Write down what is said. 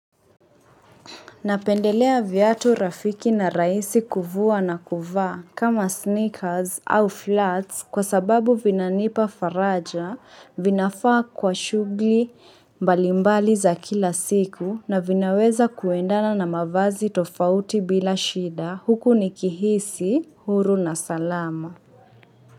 Napendelea viatu rafiki na raisi kuvua na kuvaa kama sneakers au flats kwa sababu vinanipa faraja vinafaa kwa shugli mbalimbali za kila siku na vinaweza kuendana na mavazi tofauti bila shida huku nikihisi huru na salama.